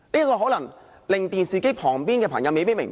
這可能令電視機旁的朋友不明白。